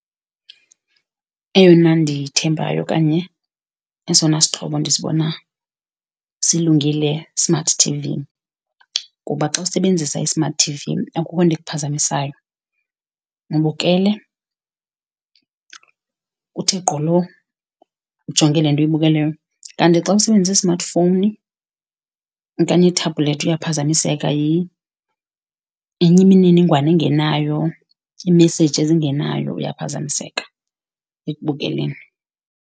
Eyona ndiyithembayo okanye esona sixhobo ndisibonayo silungile, i-smart T_V ngoba xa usebenzisa i-smart T_V akukho nto ikuphazamisayo. Ubukele uthe gqolo, ujonge le nto uyibukeleyo, kanti xa usebenzisa i-smartphone okanye ithebulethu uyaphazamiseka yenye imininingwane engenayo, i-message ezingenayo uyaphazamiseka ekubukeleni.